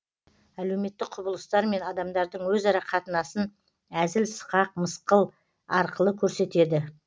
әлеуметтік құбылыстар мен адамдардың өзара қатынасын әзіл сықақ мысқыл арқылы көрсетеді